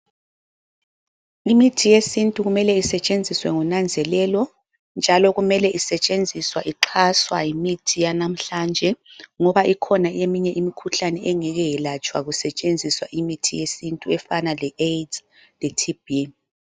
Imithi yesintu kumele isetshenziswe ngonanzelelo njalo kumele isetshenziswe ixhaswa yimithi yanamhlanje ngoba ikhona eminye imikhuhlane engeke yelatshwa kusetshenziswa imithi yesintu efana leAIDS leTB.